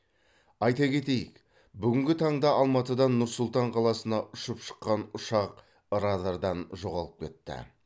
айта кетейік бүгінгі таңда алматыдан нұр сұлтан қаласына ұшып шыққан ұшақ радардан жоғалып кетті